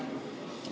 Aitäh!